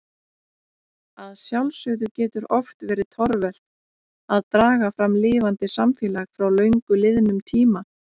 Að sjálfsögðu getur oft verið torvelt að draga fram lifandi samfélag frá löngu liðnum tíma.